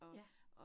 Ja